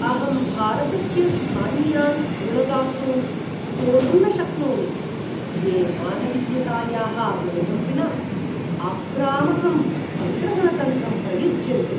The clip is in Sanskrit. अहं भारतस्य स्थानीयान् ऋणदातॄन् सोढुं न शक्नोमि, ये मानवीयतायाः बोधं विना आक्रामकं सङ्ग्रहणतन्त्रं प्रयुज्यन्ते।